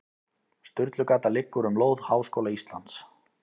Sturlugata liggur um lóð Háskóla Íslands.